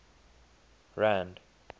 rand